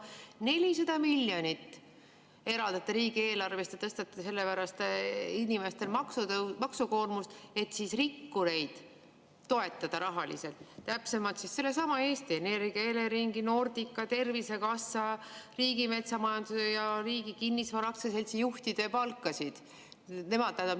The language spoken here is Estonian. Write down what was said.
400 miljonit eraldati riigieelarvest ja tõstate selle pärast inimestel maksukoormust, et rahaliselt toetada rikkureid, täpsemalt tõsta sellesama Eesti Energia, Eleringi, Nordica, Tervisekassa, Riigimetsa Majandamise Keskuse ja Riigi Kinnisvara Aktsiaseltsi juhtide palkasid.